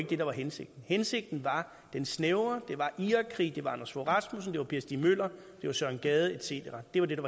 det der var hensigten hensigten var den snævre det var i irakkrigen det var anders fogh rasmussen det var per stig møller det var søren gade et cetera det var det